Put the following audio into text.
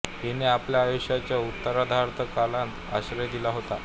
हिने आपल्या आयुष्याच्या उत्तरार्धात कलांना आश्रय दिला होता